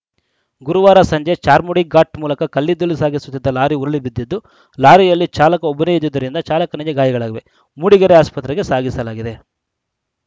ಗುರುವಾರ ಸಂಜೆ ಚಾರ್ಮಾಡಿ ಘಾಟ್‌ ಮೂಲಕ ಕಲ್ಲಿದ್ದಲು ಸಾಗಿಸುತ್ತಿದ್ದ ಲಾರಿ ಉರುಳಿ ಬಿದ್ದಿದ್ದು ಲಾರಿಯಲ್ಲಿ ಚಾಲಕ ಒಬ್ಬನೇ ಇದ್ದುದ್ದರಿಂದ ಚಾಲಕನಿಗೆ ಗಾಯಗಳಾಗಿವೆ ಮೂಡಿಗೆರೆ ಆಸ್ಪತ್ರೆಗೆ ಸಾಗಿಸಲಾಗಿದೆ